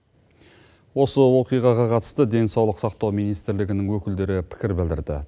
осы оқиғаға қатысты денсаулық сақтау министрлігінің өкілдері пікір білдірді